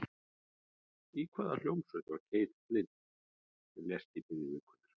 Í hvaða hljómsveit var Keith Flint sem lést í byrjun vikunnar?